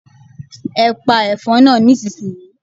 Ẹ pa ẹ̀fọn náà nísinsìnyí!